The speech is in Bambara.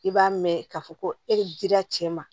I b'a mɛn k'a fɔ ko e de dira cɛ ma